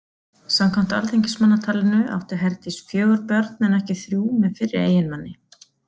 Samkvæmt Alþingismannatalinu átti Herdís fjögur börn en ekki þrjú með fyrri eiginmanni.